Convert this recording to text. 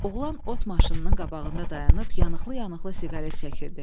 Oğlan ot maşınının qabağında dayanıb yanıqlı-yanıqlı siqaret çəkirdi.